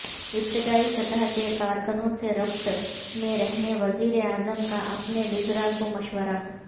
ابتدائی سطح کے کارکنوں سے ربط میں رہنے وزیر اعظم کا اپنے وزرا کو مشورہ